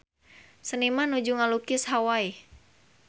Seniman nuju ngalukis Hawai